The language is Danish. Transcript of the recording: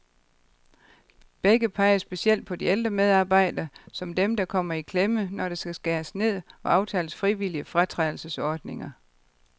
Begge peger specielt på de ældre medarbejdere, som dem, der kommer i klemme, når der skal skæres ned og aftales frivillige fratrædelsesordninger.